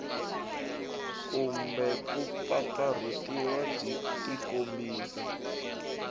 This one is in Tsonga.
kumbe ku pfapfarhutiwa byi tikombisa